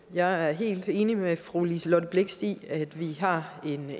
jeg er helt enig med fru liselott blixt i at vi har